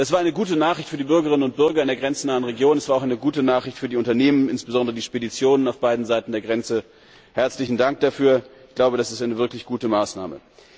Das war eine gute Nachricht für die Bürgerinnen und Bürger in der grenznahen Region. Es war auch eine gute Nachricht für die Unternehmen, insbesondere die Speditionen, auf beiden Seiten der Grenze. Herzlichen Dank dafür, das ist eine wirklich gute Maßnahme!